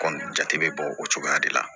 Kɔmi jate bɛ bɔ o cogoya de la